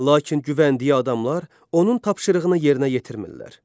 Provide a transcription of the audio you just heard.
Lakin güvəndiyi adamlar onun tapşırığını yerinə yetirmirlər.